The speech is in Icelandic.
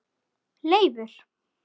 Leifur